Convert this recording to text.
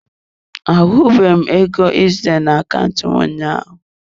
Ahụbeghị m ego ị zitara na akaụntụ m ụnyaahụ.